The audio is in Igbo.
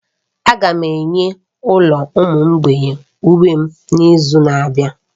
Aga m enye ụlọ ụmụ mgbei uwe n'izu na-abịa.